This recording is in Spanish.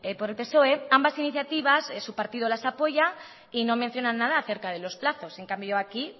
por el psoe ambas iniciativas su partido las apoya y no mencionan nada acerca de los plazos en cambio aquí